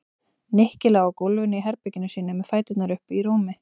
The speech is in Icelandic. Nikki lá á gólfinu í herberginu sínu með fæturna uppi í rúmi.